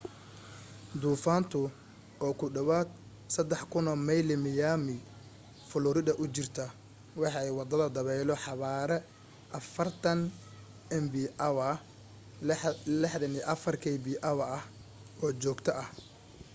duufaantu oo ku dhawaad 3,000 mayl miami florida u jirta waxay wadataa dabaylo xawaare 40 mph64kph ah oo joogto ah